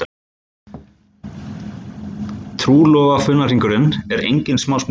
Trúlofunarhringurinn er engin smásmíði